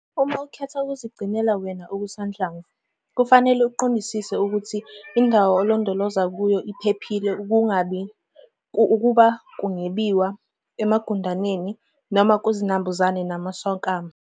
Uma ukhetha ukuzigcinela wena okusanhlamvu, kufanele uqondisise ukuthi indawo olondoloza kuyo iphephile ukuba kungebiwa, emagundaneni noma kuzinambuzane nakumswakama.